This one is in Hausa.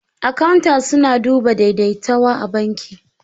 Akawu su na duba da daidaitawa a banki